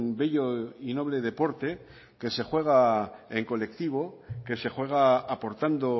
bello y noble deporte que se juega en colectivo que se juega aportando